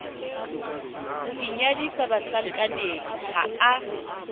o inyadisa bahlankaneng ha a